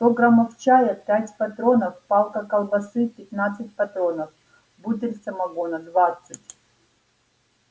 сто граммов чая пять патронов палка колбасы пятнадцать патронов бутыль самогона двадцать